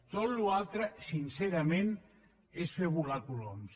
tota la resta sincerament és fer volar coloms